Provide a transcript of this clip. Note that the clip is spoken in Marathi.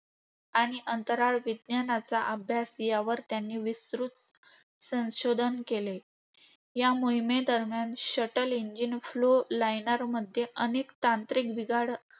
आणि अंतराळ विज्ञानाचा अभ्यास यावर त्यांनी विस्तृत संशोधन केले. या मोहिमेदरम्यान, Shuttle engine flow liner मध्ये अनेक तांत्रिक बिघाड